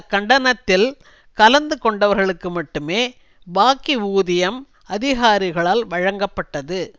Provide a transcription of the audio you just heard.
கண்டனத்தில் கலந்து கொண்டவர்களுக்கு மட்டுமே பாக்கி ஊதியம் அதிகாரிகளால் வழங்கப்பட்டது